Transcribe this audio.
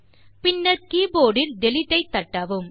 பின்னர் கீபோர்ட் இல் டிலீட் ஐ தட்டவும்